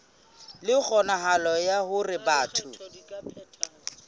le kgonahalo ya hore batho